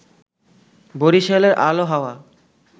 বরিশালের আলো-হাওয়া